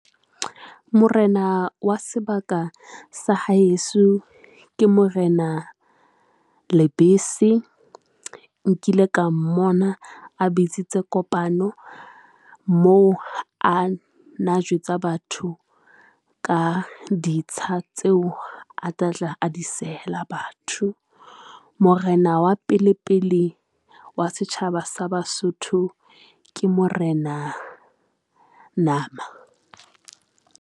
Morena wa sebaka sa haeso ke Morena Lebese. Nkile ka mmona, a bitsitse kopano moo, a na jwetsa batho ka ditsha tseo a tla tla a di sehela batho. Morena wa pele pele wa setjhaba sa Basotho ke Morena Nama.